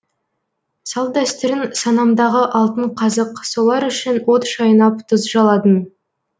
салт дәстүрің санамдағы алтын қазық солар үшін от шайнап тұз жаладың